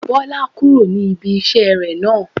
Bọ́lá kúrò ní ibi ìṣeré náà